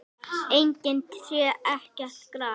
Engin tré, ekkert gras.